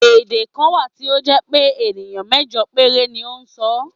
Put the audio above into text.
Èdè kan wà tí ó jẹ́ pé ènìyàn mẹ́jọ péré ni ó ń sọ ọ́.